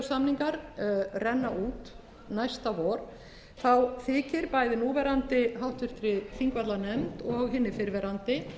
lóðarleigusamningar renna út næsta vor þykir bæði núverandi háttvirtur þingvallanefnd og hinni fyrrverandi